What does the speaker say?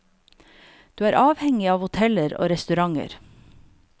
Du er uavhengig av hoteller og restauranter.